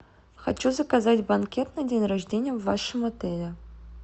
хочу заказать банкет на день рождения в вашем отеле